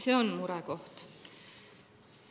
See on murekoht.